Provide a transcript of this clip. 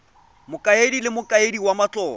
mokaedi le mokaedi wa matlotlo